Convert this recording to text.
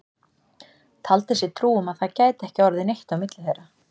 Taldi sér trú um að það gæti ekki orðið neitt á milli þeirra.